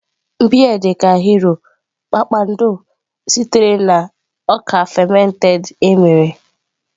Beer dị ka Hero, Kpakpando, sitere na ọka fermented eme.